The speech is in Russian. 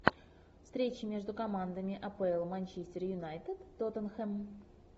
встреча между командами апл манчестер юнайтед тоттенхэм